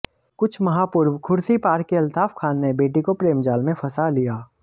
कुछ माह पूर्व खुर्सीपार के अल्ताफ खान ने बेटी को प्रेमजाल में फंसा लिया